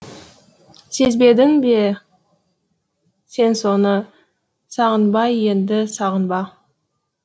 сезбедің бе сен соны сағынба енді сағынба